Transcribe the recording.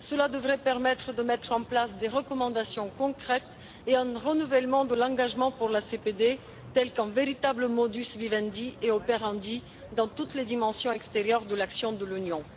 Cela devrait permettre de mettre en place des recommandations concrètes et un renouvellement de l'engagement pour la CPD, tel qu'un véritable modus vivendi et operandi dans toutes les dimensions extérieures de l'action de l'Union.